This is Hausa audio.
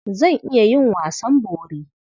Zan iya yin wasan bori.